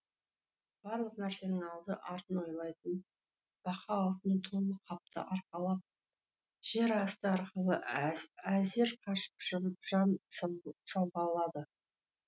барлық нәрсенің алды артын ойлайтын бақа алтын толы қапты арқалап жер асты арқылы әзер қашып шығып жан сауғалады